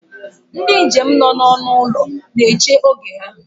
Ndị njem nọ n'ọnụ ụlọ na-eche oge ha